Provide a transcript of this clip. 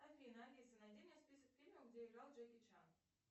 афина алиса найди мне список фильмов где играл джеки чан